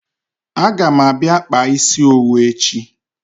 A ga m abia kpaa isi owu echi